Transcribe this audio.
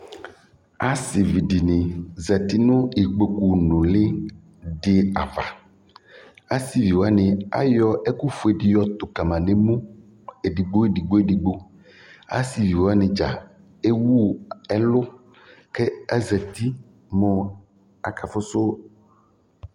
Asivi dini zati nu ikpokpu nuli di ava Asiviwani ayɔ ɛkufue di yɔtu kama nu emu edigbo edigbo edigbo Asivi wani dza ewu ɛlu ku eza uti mu akafu